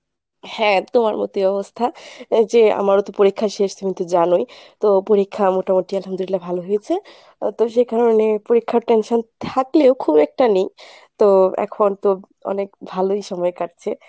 হাঁ তোমার মতোই অবস্থা আহ যে আমারও তো পরীক্ষা শেষ তুমি তো জানোই, তো পরীক্ষা মোটামোটি আলহামদুলিল্লাহ ভালো হয়েছে তো সে কারনে পরীক্ষার tension থাকলেও খুব একটা নেই তো, এখন তো অনেক ভালোই সময় কাটছে ।